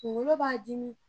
Kunkolo b'a dimi